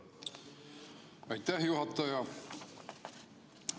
Aitäh, juhataja!